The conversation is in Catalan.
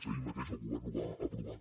ahir mateix el govern ho va aprovar